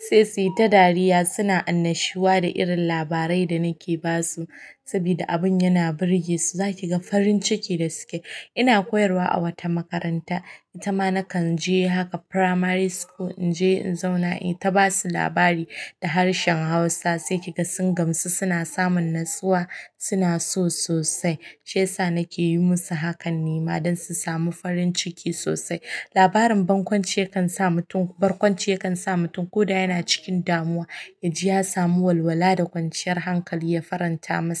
sai su yi ta dariya. Suna annashuwa da irin labarai da nake ba su saboda abin yana burge su. Za ki ga farin ciki da suke. Ina koyarwa awata makaranta itama nakanje haka primary school in je, in zauna, ita ba su labari da harshen Hausa. Sai ki ga sun gamsu, suna samun natsuwa, suna so sosai. Shiyasa nake yi musu hakan ne ma don su samu farin ciki sosai. Labarin barkwanci yakan sa mutum ko da yana cikin damuwa, ya ji ya samu walwala da kwanciyar hankali ya faranta masa.